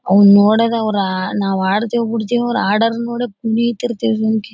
Hour ನೋಡದವರ ನಾವ್ ಆಡ್ತೀಯೋ ಬಿಡ್ತೀಯೋ ಅವರ್ ಆಡೊರೊನ್ನ ನೋಡ್ದೆ ಕುಣಿತಿರ್ತೀವಿ ಸುಮ್ಕೆ.